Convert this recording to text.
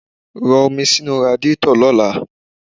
Rọ omi sínú radíetọ̀ lọ́la.